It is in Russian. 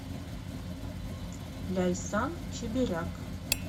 ляйсан чеберяк